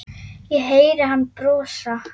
Ég heyri hann brosa.